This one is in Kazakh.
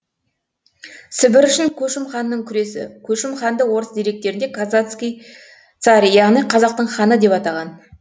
сібір үшін көшім ханның күресі көшім ханды орыс деректерінде казацкий царь яғни қазақтың ханы деп атаған